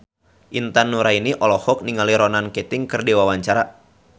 Intan Nuraini olohok ningali Ronan Keating keur diwawancara